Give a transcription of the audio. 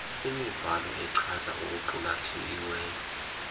imibhalo echaza okuqulathiweyo